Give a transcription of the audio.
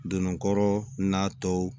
Donn'a kɔrɔ n'a tɔw